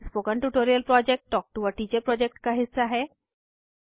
spoken tutorial project talk to a teacher project का हिस्सा है